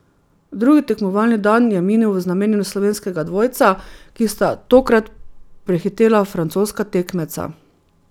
Drugi tekmovalni dan je minil v znamenju slovenskega dvojca, ki sta tokrat prehitela francoska tekmeca.